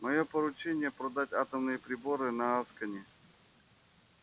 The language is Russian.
моё поручение продать атомные приборы на аскони